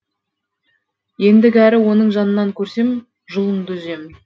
ендігәрі оның жанынан көрсем жұлыныңды үземін